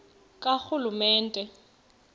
karhulumente